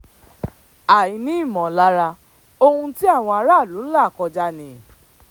àì ní ìmọ̀lára ohun tí àwọn aráàlú ń là kọjá ni